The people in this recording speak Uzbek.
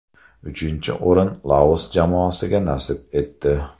Uchinchi o‘rin Laos jamoasiga nasib etdi.